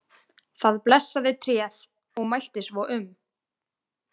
Það blessaði tréð og mælti svo um.